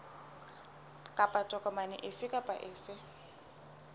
kapa tokomane efe kapa efe